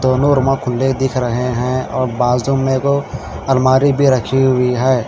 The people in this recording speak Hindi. दोनो खुले दिख रहे हैं और बाजू में ओ अलमारी भी रखी हुई है।